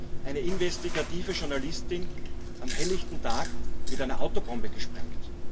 Da wird eine investigative Journalistin am helllichten Tag mit einer Autobombe gesprengt.